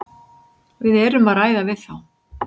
Við erum að ræða við þá.